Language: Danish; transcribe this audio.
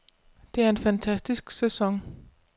Det er en fantastisk sæson.